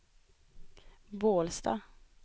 Bålsta